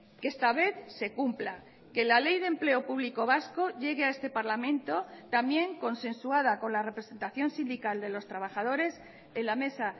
que esta vez se cumpla que la ley de empleo público vasco llegue a este parlamento también consensuada con la representación sindical de los trabajadores en la mesa